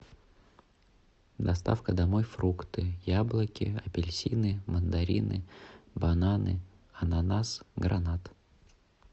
доставка домой фрукты яблоки апельсины мандарины бананы ананас гранат